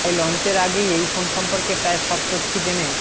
তাই লঞ্চের আগেই এই ফোন সম্পর্কে প্রায় সব তথ্যি জেনে